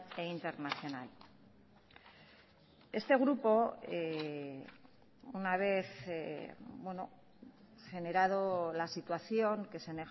e internacional este grupo una vez generado la situación que se